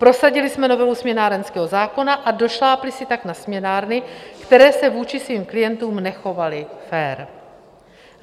Prosadili jsme novelu směnárenského zákona a došlápli si tak na směnárny, které se vůči svým klientům nechovaly fér.